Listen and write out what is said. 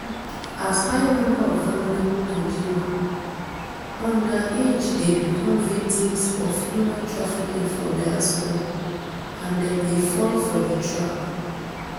as high number of vulnerable nigeria underage dey become victims of human trafficking for diaspora and dem dey fall for di trap